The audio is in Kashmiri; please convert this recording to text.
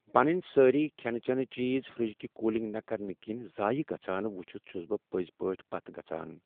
پننۍ سٲری کھینہٕ چیٚنہٕ چیز فرج كہِ كوُلِنگ نہٕ كرنہٕ كِنۍ ضایہ گژھان وٗچھِتھ چھٗس بہٕ پٔزۍپٲٹھۍ پتھ گژھان ۔